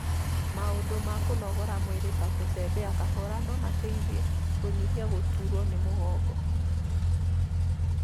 maũndũ ma kũnogora mwĩrĩ ta gũtembea kahora no mateithie kũnyihia gũtuurwo nĩ mũgongo.